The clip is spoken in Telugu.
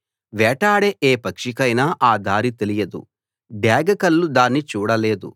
వేటాడే ఏ పక్షికైనా ఆ దారి తెలియదు డేగ కళ్ళు దాన్ని చూడలేదు